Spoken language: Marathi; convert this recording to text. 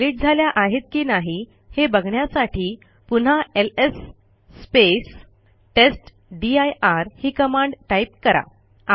त्या डिलिट झाल्या आहेत की नाही हे बघण्यासाठी पुन्हा एलएस टेस्टदीर ही कमांड टाईप करा